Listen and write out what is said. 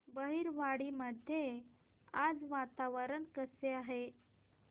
बहिरवाडी मध्ये आज वातावरण कसे आहे